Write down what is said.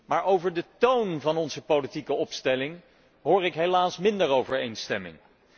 Maar over de toon van onze politieke opstelling hoor ik helaas minder overeenstemming.